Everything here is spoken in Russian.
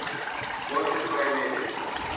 офисная мебель